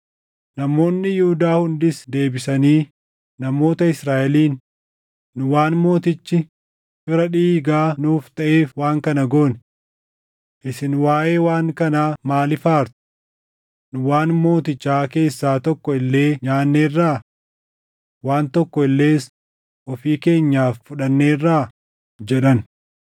Namoonni Yihuudaa hundis deebisanii namoota Israaʼeliin, “Nu waan mootichi fira dhiigaa nuuf taʼeef waan kana goone. Isin waaʼee waan kanaa maaliif aartu? Nu waan mootichaa keessaa tokko illee nyaanneerraa? Waan tokko illees ofii keenyaaf fudhanneerraa?” jedhan.